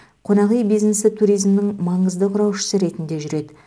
қонақ үй бизнесі туризмнің маңызды құраушысы ретінде жүреді